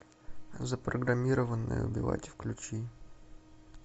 запрограммированная убивать включи